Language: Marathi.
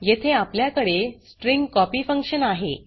येथे आपल्याकडे स्ट्रिंग कॉपी फक्शन आहे